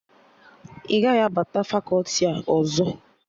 Ị gaghị abata fakọti a ọzọ!